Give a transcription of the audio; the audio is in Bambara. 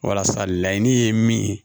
Walasa laɲini ye min ye